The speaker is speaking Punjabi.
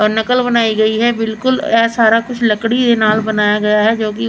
ਨਕਲ ਬਣਾਈ ਗਈ ਹੈ ਬਿਲਕੁਲ ਇਹ ਸਾਰਾ ਕੁਝ ਲੱਕੜੀ ਦੇ ਨਾਲ ਬਣਾਇਆ ਗਿਆ ਹੈ ਜੋ ਕਿ--